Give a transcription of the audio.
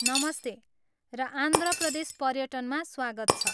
नमस्ते र आन्ध्र प्रदेश पर्यटनमा स्वागत छ।